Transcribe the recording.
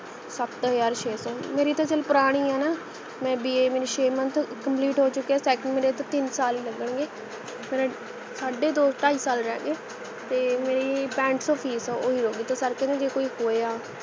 ਸਤ ਹਜਾਰ ਛੇ ਸੋ ਮੇਰੀ ਤਾਂ ਚਲ ਪੁਰਾਣੀ ਹੈ ਨਾ ਮੈਂ BA ਮੈਨੂੰ ਛੇ month complete ਹੋ ਚੁਕੇ ਹੈ second ਮੇਰੇ ਤਾਂ ਤਿੰਨ ਸਾਲ ਹੀ ਲਗਣਗੇ ਮੇਰੇ ਸਾਡੇ ਦੋ ਢਾਇ ਸਾਲ ਰਹਿਗੇ ਤੇ ਮੇਰੀ ਪੈਂਹਠ ਸੋ fees ਓਹੀ ਰਹੂਗੀ ਤੇ sir ਕਹਿੰਦੇ ਜੇ ਕੋਈ ਹੋਇਆ